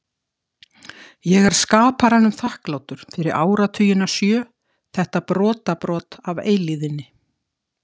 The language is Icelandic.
Ég er skaparanum þakklátur fyrir áratugina sjö, þetta brotabrot af eilífðinni.